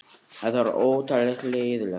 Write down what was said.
Þetta er óttalega leiðinlegt